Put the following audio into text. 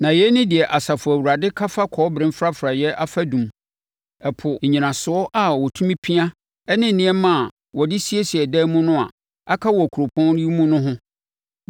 Na yei ne deɛ Asafo Awurade ka fa kɔbere mfrafraeɛ afadum, Ɛpo, nnyinasoɔ a wɔtumi pia ne nneɛma a wɔde siesie dan mu no a aka wɔ kuropɔn yi mu no ho.